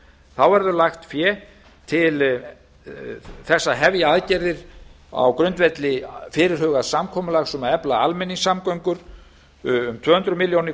þá verður lagt fé til þess að hefja aðgerðir á grundvelli fyrirhugaðs samkomulags um að efla almenningssamgöngur um tvö hundruð milljóna